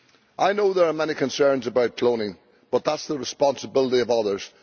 I know there are many concerns about cloning but that is the responsibility of others